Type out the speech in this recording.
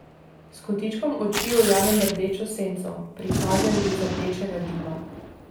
S kotičkom oči ujamem rdečo senco, prikazen iz rdečega dima.